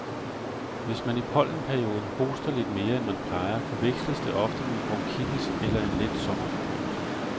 Hvis man i pollenperioden hoster lidt mere, end man plejer, forveksles det ofte med bronkitis eller en let sommerforkølelse.